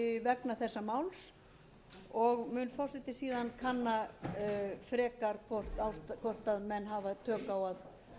vegna þessa máls forseti mun kanna hvort menn hafa tök á að bregðast við því